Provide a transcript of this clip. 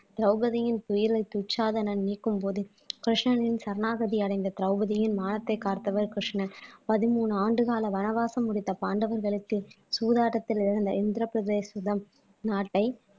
திரௌபதியின் துயிலை துச்சாதனன் நீக்கும் போது கிருஷ்ணனின் சரணாகதி அடைந்த திரௌபதியின் மானத்தை காத்தவர் கிருஷ்ணன் பதிமூணு ஆண்டுகால வனவாசம் முடித்த பாண்டவர்களுக்கு சூதாட்டத்தில் இருந்த இந்திரபிரததேசிதம் நாட்டை